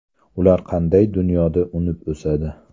Ular qanday dunyoda unib o‘sadi?